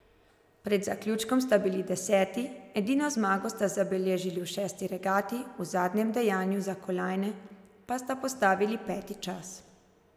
Pred zaključkom sta bili deseti, edino zmago sta zabeležili v šesti regati, v zadnjem dejanju za kolajne pa sta postavili peti čas.